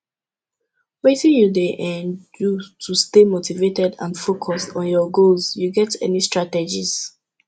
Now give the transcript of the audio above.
wetin you dey um do to stay motivated and focuesd on your goals you get any strategies